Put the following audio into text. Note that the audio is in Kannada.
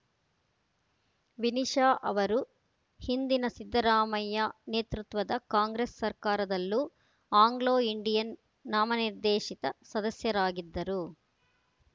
ವಿನಿಶಾ ಅವರು ಹಿಂದಿನ ಸಿದ್ದರಾಮಯ್ಯ ನೇತೃತ್ವದ ಕಾಂಗ್ರೆಸ್‌ ಸರ್ಕಾರದಲ್ಲೂ ಆಂಗ್ಲೋ ಇಂಡಿಯನ್‌ ನಾಮನಿರ್ದೇಶಿತ ಸದಸ್ಯರಾಗಿದ್ದರು